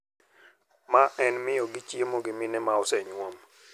Ma en miyogi chiemo gi mine ma osenyuom.